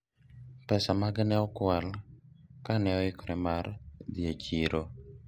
pesa mage ne okwal kane oikore mar dhi e chiro